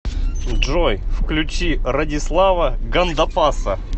джой включи радислава гандапаса